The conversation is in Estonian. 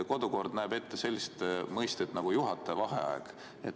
Kodu- ja töökorra seadus näeb ette juhataja vaheaja.